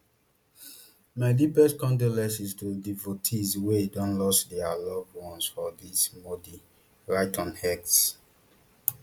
my deepest condolences to devotees wey don lost dia loved ones for dis modi write on x